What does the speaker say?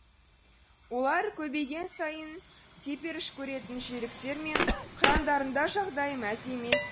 олар көбейген сайын теперішкөретін жүйріктер мен қырандардың да жағдайы мәз емес